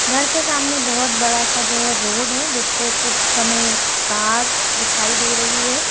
घर के सामने बहुत बड़ा सा जो है रोड है जिसपे कुछ हमे कार स दिखाई दे रही है।